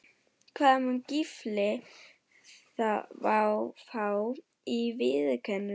Hvað mun Gylfi fá í vikulaun?